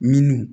Minnu